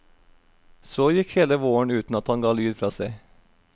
Så gikk hele våren uten at han ga lyd fra seg.